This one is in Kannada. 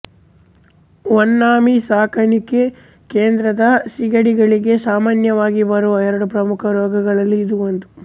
ವನ್ನಾಮಿ ಸಾಕಾಣಿಕೆ ಕೇಂದ್ರದ ಸೀಗಡಿಗಳಿಗೆ ಸಾಮಾನ್ಯವಾಗಿ ಬರುವ ಎರಡು ಪ್ರಮುಖ ರೋಗಗಳಲ್ಲಿ ಇದು ಒಂದು